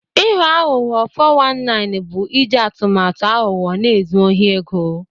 Ịghọ aghụghọ (419) bụ iji atụmatụ aghụghọ na-ezu ohi ego.